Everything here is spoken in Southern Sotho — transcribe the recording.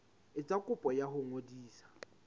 etsa kopo ya ho ngodisa